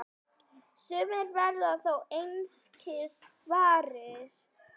Sumir verða þó einskis varir.